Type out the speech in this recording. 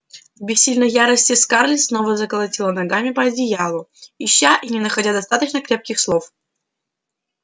в бессильной ярости скарлетт снова заколотила ногами по одеялу ища и не находя достаточно крепких слов чтобы выразить душившую её злобу